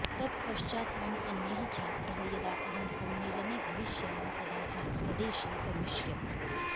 तत् पश्चात् मम अन्यः छात्रः यदा अहं सम्मेलने भविष्यामि तदा सः स्वदेशे गमिष्यति